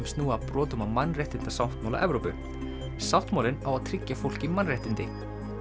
snúa að brotum á mannréttindasáttmála Evrópu sáttmálinn á að tryggja fólki mannréttindi